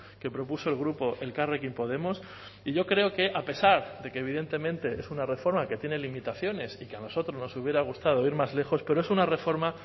que propuso el grupo elkarrekin podemos y yo creo que a pesar de que evidentemente es una reforma que tiene limitaciones y que a nosotros nos hubiera gustado ir más lejos pero es una reforma